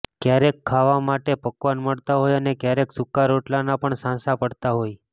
ક્યારેક ખાવા માટે પકવાન મળતાં હોય અને ક્યારેક સૂકા રોટલાના પણ સાંસા પડતા હોય